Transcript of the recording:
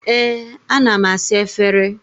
Ee, ana m asa efere.